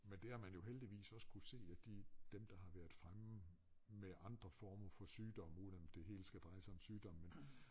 Men det har man jo heldigvis også kunne se at de dem der har været fremme med andre former for sygdomme uden at det hele skal dreje sig om sygdomme men